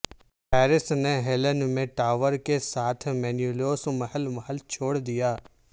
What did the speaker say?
Paris نے Helen میں ٹاور کے ساتھ مینیلوس محل محل چھوڑ دیا